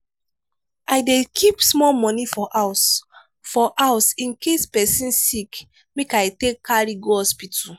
i dey keep small money for house for house in case pesin sick make i take carry go hospital.